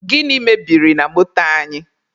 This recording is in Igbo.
Gịnị mebiri na moto anyị?